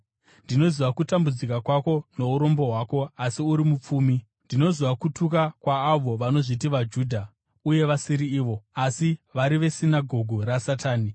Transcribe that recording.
Ndinoziva kutambudzika kwako nourombo hwako, asi uri mupfumi! Ndinoziva kutuka kwaavo vanozviti vaJudha uye vasiri ivo, asi vari vesinagoge raSatani.